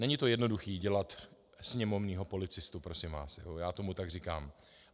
Není to jednoduché dělat sněmovního policistu, prosím vás, já tomu tak říkám.